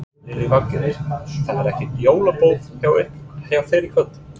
Lillý Valgerður: Það er ekkert jólaboð hjá þér í kvöld?